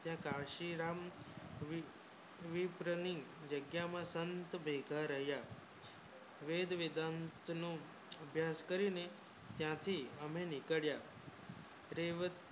ત્યાં કાશીરામ વીર તને જગ્યા માં સંત બૈઠા રહ્યા વેદ વેદાંત નું અભ્યાસ કરીને ત્યાંથી હમે નિકળ્યા